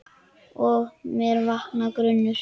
Og með mér vaknar grunur.